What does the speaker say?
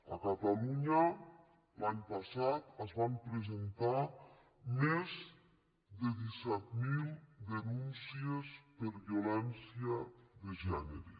a catalunya l’any passat es van presentar més de disset mil denúncies per violència de gènere